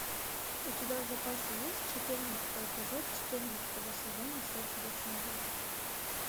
у тебя в запасе есть четырнадцатый эпизод четырнадцатого сезона секс в большом городе